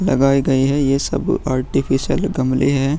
लगाये गई है ये सब आर्टिफिशियल गमले हैं।